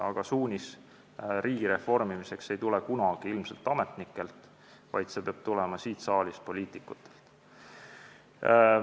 Aga suunis riigi reformimiseks ei tule kunagi ilmselt ametnikelt, vaid see peab tulema siit saalist, poliitikutelt.